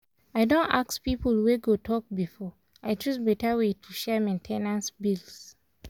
i don ask people wey go talk before i choose betta way to share main ten ance bills.